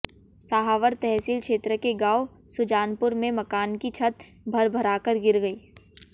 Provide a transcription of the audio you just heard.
सहावर तहसील क्षेत्र के गांव सुजानपुर में मकान की छत भरभराकर गिर गई